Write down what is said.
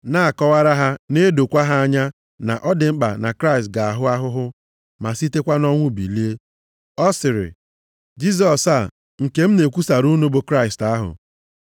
na-akọwara ha na-edokwa ha anya na ọ dị mkpa na Kraịst ga-ahụ ahụhụ, ma sitekwa nʼọnwụ bilie. Ọ sịrị, “Jisọs a, nke m na-ekwusara unu bụ Kraịst ahụ.”